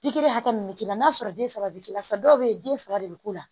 Pikiri hakɛ min bɛ k'i la n'a sɔrɔ den saba bɛ k'i la sa dɔw bɛ yen den saba de bɛ k'u la